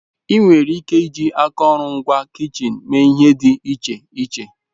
Ị nwere ike iji akụrụngwa kichin mee ihe dị iche iche.